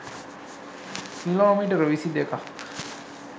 kilometre විසි දෙකක්